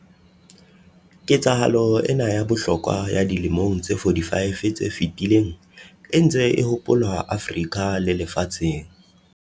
Ketsahalo ena ya bohlokwa ya dilemong tse 45 tse fetileng e ntse e hopolwa Afrika le lefatsheng.